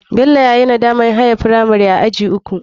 Bello yayi nadamar haye firamari aji uku.